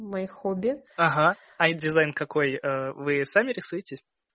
мои хобби ага а это дизайн какой вы сами рисуетесь